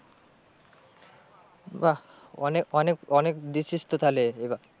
বাহ অনেক অনেক অনেক দিচ্ছিস তো তাহলে এবার।